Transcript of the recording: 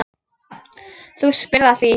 Þú spyrð að því.